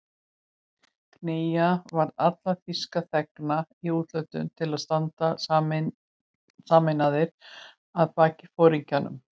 Knýja varð alla þýska þegna í útlöndum til að standa sameinaðir að baki foringjanum